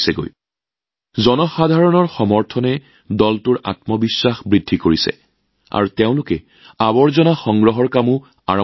ৰাইজৰ পৰা পোৱা সমৰ্থনৰ লগে লগে দলটোৰ আত্মবিশ্বাস বাঢ়ি আহিল তাৰ পিছত তেওঁলোকেও জাবৰ সংগ্ৰহৰ কামত নামিল